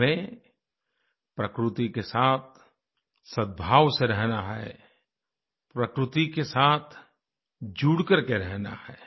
हमें प्रकृति के साथ सदभाव से रहना है प्रकृति के साथ जुड़ करके रहना है